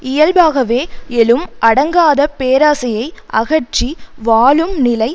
இயல்பாகவே எழும் அடங்காத பேராசையை அகற்றி வாழும் நிலை